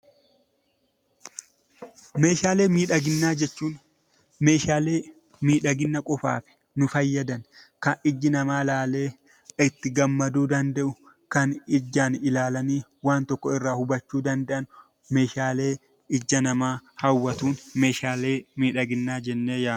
Meeshaalee miidhaginaa jechuun Meeshaalee miidhagina qofaaf nu fayyadan kan ijji namaa ilaalee itti gammaduu danda'u, kan ijaan ilaalanii Meeshaalee ija namaa hawwatu, Meeshaalee miidhaginaa jennee waamna.